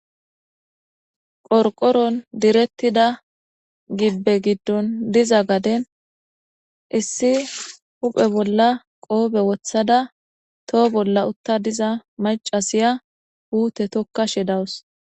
Qorqoron direttida gibbe giddon diza gaden issi huphe bolla qoobe wothada toho bolla utta diza macasiya puute tokkashe dawus.